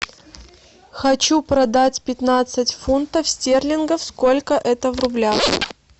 хочу продать пятнадцать фунтов стерлингов сколько это в рублях